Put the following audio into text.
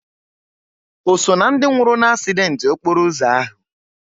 O so ná ndị nwụrụ n'asident okporo ụzọ ahụ?